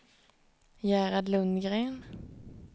Gerhard Lundgren